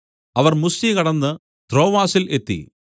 അവർ മുസ്യ കടന്ന് ത്രോവാസിൽ എത്തി